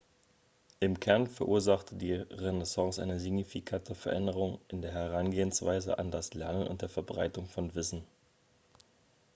im kern verursachte die renaissance eine signifikante veränderung in der herangehensweise an das lernen und der verbreitung von wissen